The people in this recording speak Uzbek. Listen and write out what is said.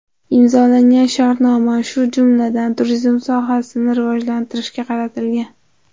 Imzolangan shartnoma, shu jumladan, turizm sohasini rivojlantirishga qaratilgan.